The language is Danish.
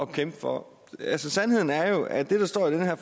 kæmpe for sandheden er jo at det der står i det her